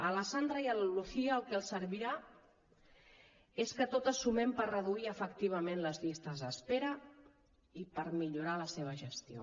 a la sandra i a la lucía el que els servirà és que totes sumem per reduir efectivament les llistes d’espera i per millorar la seva gestió